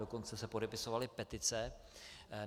Dokonce se podepisovaly petice.